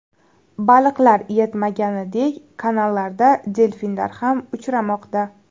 Baliqlar yetmaganidek, kanallarda delfinlar ham uchramoqda.